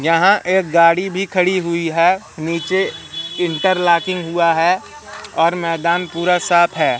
यहां एक गाड़ी भी खड़ी हुई है नीचे इंटरलॉकिंग हुआ है और मैदान पूरा साफ हैं।